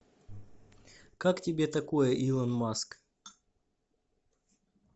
как тебе такое илон маск